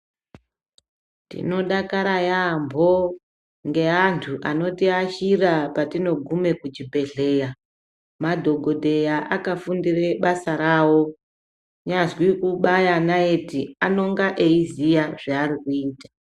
Tinodakara yambo ngeandu anotiashira patinogume kuchibhedhleya. Madhogodheya akafundire basa ravo, kunyazwi kubaya naiti anonga eiziya zvaari kuita.